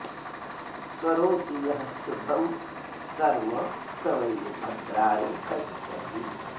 करोति यः शुभं कर्म स वै भद्राणि पश्यति